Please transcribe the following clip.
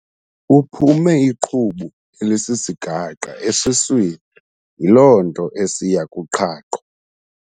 Uphume iqhubu elisisigaqa esiswini yiloo nto esiya kuqhaqho.